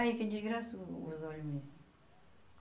Aí que desgraça o os olhos meus.